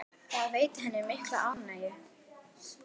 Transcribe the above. Það veitti henni mikla ánægju.